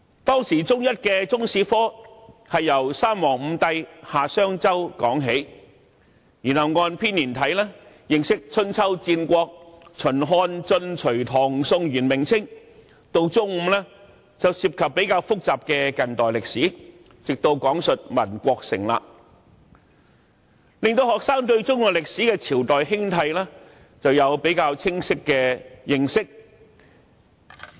當時，中一的中史科是從三皇五帝、夏、商、周說起，然後按編年體認識春秋、戰國、秦、漢、晉、隋、唐、宋、元、明、清，到了中五便涉及較複雜的近代歷史，直到講述民國成立，令學生對中國歷史的朝代興替有清晰的認識。